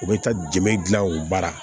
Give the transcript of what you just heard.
U bɛ taa dɛmɛ dilan u baara